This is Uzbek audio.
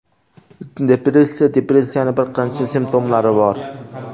Depressiya Depressiyaning bir qancha simptomlari bor.